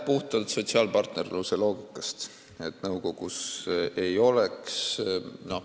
Puhtalt sotsiaalpartnerluse loogika tõttu.